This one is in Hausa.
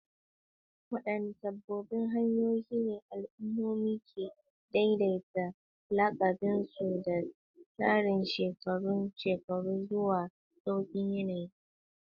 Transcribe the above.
Wadanne sabbin hanyoyi ne al'ummomi ke daidaita lakabin su da tsarin shekarun shekaru zuwa sauyin yanayi?